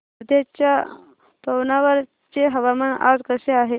वर्ध्याच्या पवनार चे हवामान आज कसे आहे